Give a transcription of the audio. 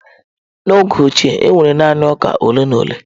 N’oge ochie, e nwere naanị ụka ole na ole.